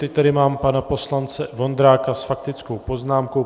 Teď tady mám pana poslance Vondráka s faktickou poznámkou.